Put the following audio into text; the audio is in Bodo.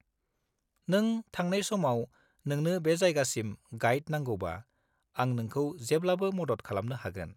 -नों थांनाय समाव नोंनो बे जायगासिम गाइड नांगौबा, आं नोंखौ जेब्लाबो मदद खालामनो हागोन।